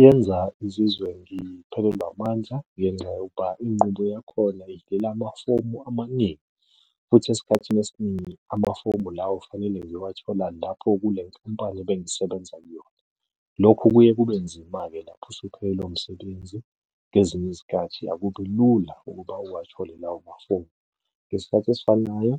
Yenza ngizizwe ngiphelelwa amandla, ngenxa yokuba inqubo yakhona amafomu amaningi, futhi esikhathini esiningi amafomu lawo kufanele ngiyowathola lapho kule khampani ebengisebenza kuyona. Lokhu kuye kube nzima-ke lapho usuphelelwe umsebenzi, ngezinye izikhathi akubi lula ukuba uwathole lawo mafomu. Ngesikhathi esifanayo